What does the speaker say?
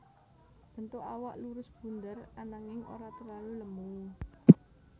Bentuk awak lurus bunder ananging ora terlalu lemu